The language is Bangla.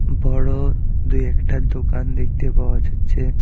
বড় দুই একটা দোকান দেখতে পাওয়া যাচ্ছে।